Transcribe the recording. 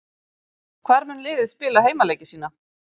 Hvar mun liðið spila heimaleiki sína?